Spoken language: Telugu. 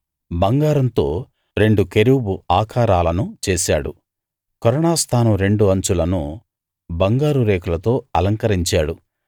బంగారంతో రెండు కెరూబు ఆకారాలను చేశాడు కరుణా స్థానం రెండు అంచులను బంగారు రేకులతో అలంకరించాడు